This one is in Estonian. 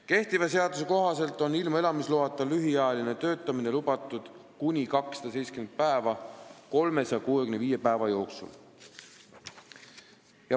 Kehtiva seaduse kohaselt on ilma elamisloata lühiajaliselt töötada lubatud kuni 270 päeva 365 päeva jooksul.